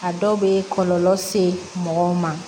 A dɔw bɛ kɔlɔlɔ se mɔgɔw ma